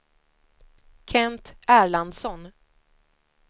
Kent Erlandsson